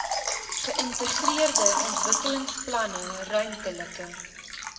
geïntegreerde ontwikkelingsplanne ruimtelike